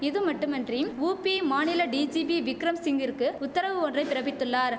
இதுமட்டுமன்றிம் UP மாநில DGP Vikram சிங்கிற்கு உத்தரவு ஒன்றை பிறப்பித்துள்ளார்